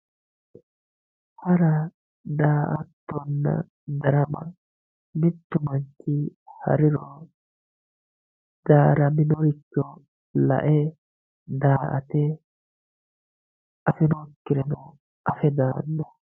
Hara daatona darama mittu manchi hariro daaraminorichi lae daate afinokireno afe dano